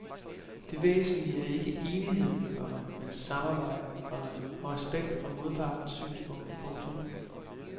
Det væsentlige er ikke enighed, komma men samarbejde, komma og respekt for modpartens synspunkt. punktum